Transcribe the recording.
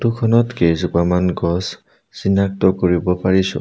Photo খনত কেইজোপামান গছ চিনাক্ত কৰিব পাৰিছোঁ।